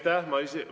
Aitäh!